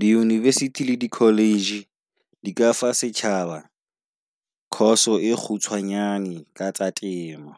Di university le di college di ka fa setjhaba course e kgutshwanyane ka tsa temo.